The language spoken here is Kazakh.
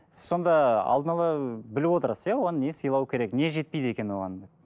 сонда алдын ала біліп отырасыз иә оған не сыйлау керек не жетпейді екен оған